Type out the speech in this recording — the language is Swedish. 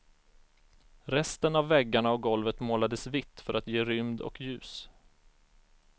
Resten av väggarna och golvet målades vitt för att ge rymd och ljus.